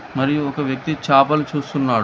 మరియు ఒక వ్యక్తి చాపలు చూస్తున్నాడు